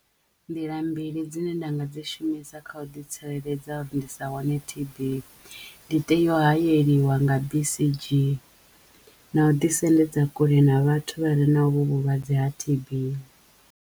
Nḓila mbili dzine nda nga dzi shumisa kha u ḓi tsireledza ndi sa wane T_B ndi tea u hayeliwa nga bisidzhini na u ḓisendedza kule na vhathu vha re na ho vhu vhulwadze ha T_B.